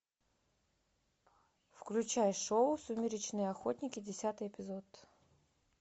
включай шоу сумеречные охотники десятый эпизод